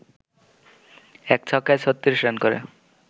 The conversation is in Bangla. ১ ছক্কায় ৩৬ রান করে